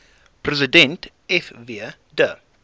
president fw de